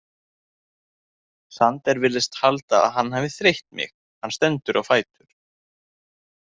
Sander virðist halda að hann hafi þreytt mig, hann stendur á fætur.